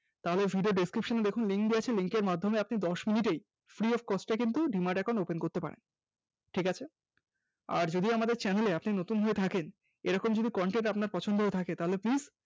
তাহলে video র Description এ দেখুন link দেওয়া আছে link এর মাধ্যমে আপনি দশ minute এই free of cost এ কিন্তু Demat account open করতে পারেন। ঠিক আছে আর যদি আমাদের Channel এ আপনি নতুন হয়ে থাকেন এরকম যদি content আপনার পছন্দ হয়ে থাকে তাহলে please